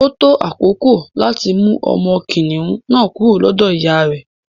Ó tó àkókò láti mú ọmọ kìnìún na kúrò lọ́dọ̀ ìyá rè.